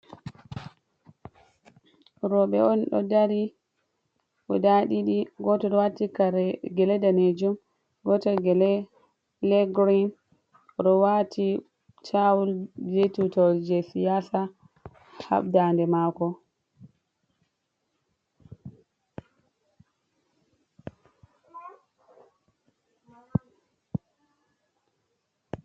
Rowɓe on ɗo dari "gudaa" ɗiɗi, gooto ɗo waati "kare gele daneejum". Gootel gele "pilee girin", O ɗo waati "taawul" bee tuutawal jey siyaasa ha daande maako.